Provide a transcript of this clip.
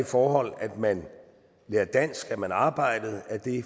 forhold at man lærer dansk at man arbejder